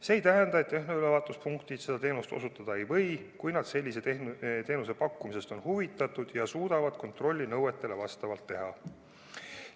See ei tähenda, et tehnoülevaatuspunktid seda teenust osutada ei või, kui nad sellise teenuse pakkumisest on huvitatud ja suudavad kontrolli nõuetele vastavalt teha.